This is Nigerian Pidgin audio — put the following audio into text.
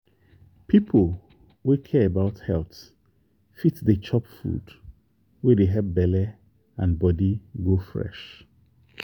people wey care about health fit dey chop food wey dey help belle and body go fresh.